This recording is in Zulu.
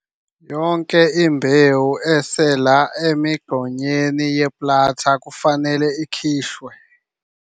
Yonke imbewu esela emigqonyeni ye-planter kufanele ikhishwe.